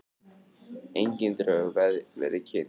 Engin drög verið kynnt